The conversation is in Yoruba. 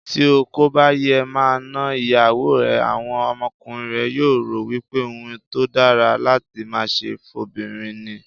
Tí o kòbà yéé máa na ìyàwó ẹ, àwọn ọmọkùnrin rẹ yóò rò wípé ohun tódára láti máaṣe fó'bìnrin ni.